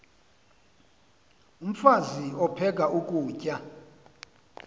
umfaz aphek ukutya